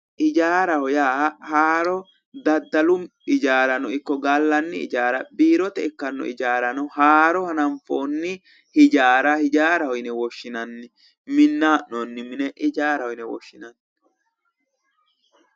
Ijaaraho yaa haaroo daddalu ijaarano ikko gallanni ijaara biirote ikkanno ijaarano haaro hananfoonni ijaara ijaaraho yine woshshinanni minnayi hee'noonni mine ijaaraho yine woshshinanni